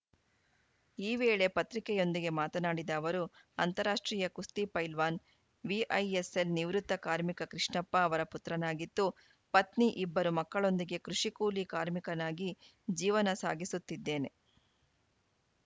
ಈ ವೇಳೆ ಪತ್ರಿಕೆಯೊಂದಿಗೆ ಮಾತನಾಡಿದ ಅವರು ಅಂತಾರಾಷ್ಟ್ರೀಯ ಕುಸ್ತಿ ಫೈಲ್ವಾನ್‌ ವಿಐಎಸ್‌ಎಲ್‌ ನಿವೃತ್ತ ಕಾರ್ಮಿಕ ಕೃಷ್ಣಪ್ಪ ಅವರ ಪುತ್ರನಾಗಿದ್ದು ಪತ್ನಿ ಇಬ್ಬರು ಮಕ್ಕಳೊಂದಿಗೆ ಕೃಷಿ ಕೂಲಿ ಕಾರ್ಮಿಕನಾಗಿ ಜೀವನ ಸಾಗಿಸುತ್ತಿದ್ದೇನೆ